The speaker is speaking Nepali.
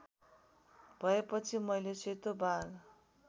भएपछि मैले सेतो बाघ